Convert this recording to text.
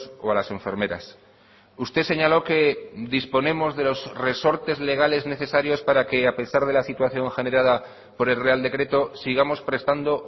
o a las enfermeras usted señaló que disponemos de los resortes legales necesarios para que a pesar de la situación generada por el real decreto sigamos prestando